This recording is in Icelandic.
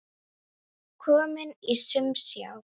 Kominn í umsjá